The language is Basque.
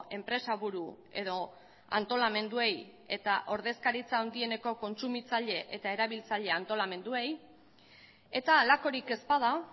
enpresa buru edo antolamenduei eta ordezkaritza handieneko kontsumitzaile eta erabiltzaile antolamenduei eta halakorik ez bada